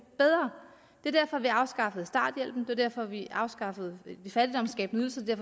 er derfor at vi har afskaffet starthjælpen det var derfor vi afskaffede de fattigdomsskabende ydelser det er